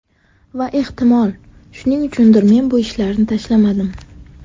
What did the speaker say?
Va ehtimol, shuning uchundir, men bu ishlarni tashlamadim.